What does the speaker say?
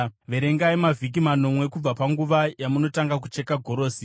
Verengai mavhiki manomwe kubva panguva yamunotanga kucheka gorosi.